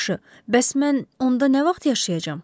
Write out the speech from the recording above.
Yaxşı, bəs mən onda nə vaxt yaşayacam?